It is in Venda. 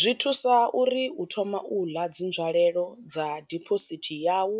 Zwi thusa uri u thoma u ḽa dzi nzwalelo dza diphosithi yau